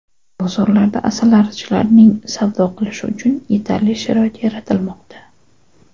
Bozorlarda asalarichilarning savdo qilishi uchun yetarli sharoit yaratilmoqda.